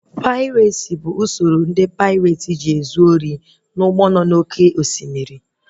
Pairesi bụ usoro ndị paireti ji ezu ori n'ụgbọ nọ na oké osimiri